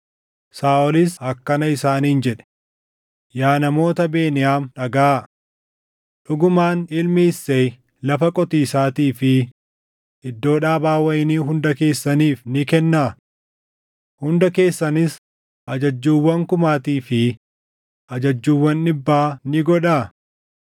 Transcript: Saaʼolis akkana isaaniin jedhe; “Yaa namoota Beniyaam dhagaʼaa! Dhugumaan ilmi Isseey lafa qotiisaatii fi iddoo dhaabaa wayinii hunda keessaniif ni kennaa? Hunda keessanis ajajjuuwwan kumaatii fi ajajjuuwwan dhibbaa ni godhaa?